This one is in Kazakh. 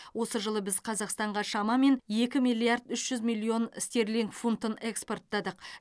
осы жылы біз қазақстанға шамамен екі миллиард үш жүз миллион стерлинг фунтын экспорттадық